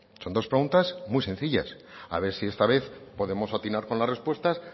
son dos preguntas muy sencillas a ver si esta vez podemos atinar con las respuestas